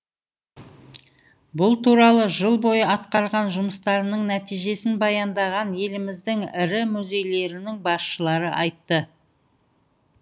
бұл туралы жыл бойы атқарған жұмыстарының нәтижесін баяндаған еліміздің ірі музейлерінің басшылары айтты